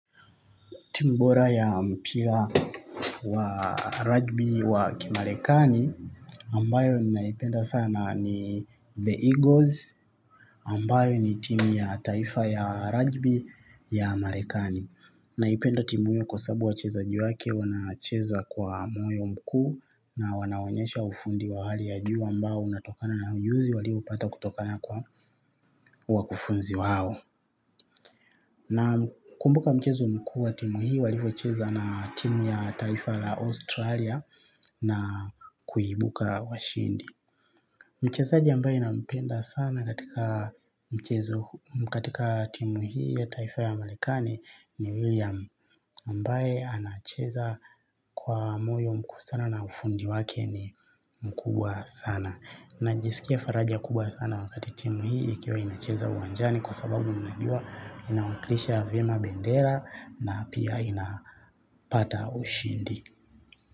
Timu bora ya mpira wa ragbi wa kimarekani, ambayo ninaipenda sana ni The Eagles, ambayo ni timu ya taifa ya ragbi ya marekani. Naipenda timu hiyo kwa sababu wachezaji wake, wanacheza kwa moyo mkuu na wanaonyesha ufundi wa hali ya juu ambao unatokana na ujuzi, waliopata kutokana kwa wakufunzi wao. Nakumbuka mchezo mkuu wa timu hii walivyocheza na timu ya taifa la Australia na kuibuka washindi. Mchezaji ambaye nampenda sana katika mchezo katika timu hii ya taifa ya marekani ni William ambaye anacheza kwa moyo mkuu sana na ufundi wake ni mkuu sana. Najisikia faraja kubwa sana wakati timu hii ikiwa inacheza uwanjani kwa sababu najua inawakilisha vyema bendera na pia inapata ushindi.